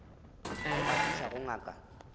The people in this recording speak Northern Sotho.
ge a fihla go ngaka